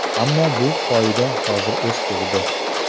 Ammo bu qoida hozir eskirdi.